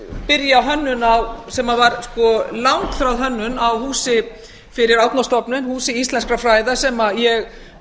byrja hönnun sem var langþráð hönnun á húsi fyrir árnastofnun húsi íslenskra fræða sem ég